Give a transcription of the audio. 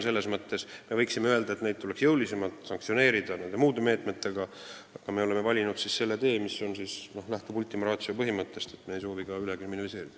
Me võiksime öelda, et tuleks jõulisemalt sanktsioneerida muude meetmetega, aga me oleme valinud selle tee, mis lähtub ultima ratio põhimõttest, et me ei soovi ülekriminaliseerida.